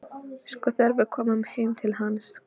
Sko, þegar við komum heim til hans.